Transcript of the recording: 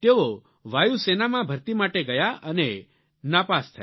તેઓ વાયુસેનામાં ભર્તી માટે ગયા અને નાપાસ થયા